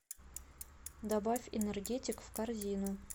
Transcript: добавь энергетик в корзину